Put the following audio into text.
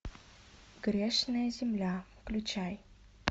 грешная земля включай